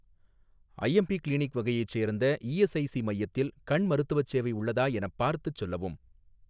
IMP clinic வகையைச் சேர்ந்த ESIC மையத்தில் கண் மருத்துவச் சேவை உள்ளதா எனப் பார்த்துச் சொல்லவும்.